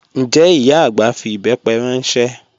Njẹ́ ìyá agbá fí ìbẹ́pẹ̀ ranṣẹ?